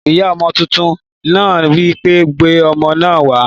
Ìyá ọmọ tuntun náà wí pé Gbé ọmọ náà wàá!